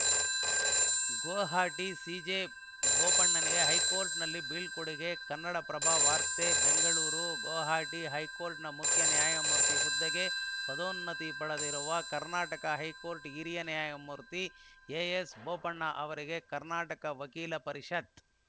Guwahati CJ ಬೋಪಣ್ಣಗೆ ಹೈಕೋರ್ಟ್‌ನಲ್ಲಿ ಬೀಳ್ಕೊಡುಗೆ ಕನ್ನಡಪ್ರಭ ವಾರ್ತೆ ಬೆಂಗಳೂರು ಗುವಾಹಟಿ ಹೈಕೋರ್ಟ್‌ನ ಮುಖ್ಯ ನ್ಯಾಯಮೂರ್ತಿ ಹುದ್ದೆಗೆ ಪದೋನ್ನತಿ ಪಡೆದಿರುವ ಕರ್ನಾಟಕ ಹೈಕೋರ್ಟ್‌ ಹಿರಿಯ ನ್ಯಾಯಮೂರ್ತಿ ಎಎಸ್‌ಬೋಪಣ್ಣ ಅವರಿಗೆ ಕರ್ನಾಟಕ ವಕೀಲರ ಪರಿಷತ್‌